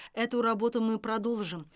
эту работу мы продолжим